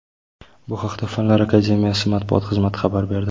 Bu haqda Fanlar Akademiyasi matbuot xizmati xabar berdi .